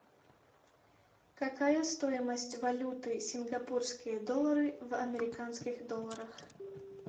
какая стоимость валюты сингапурские доллары в американских долларах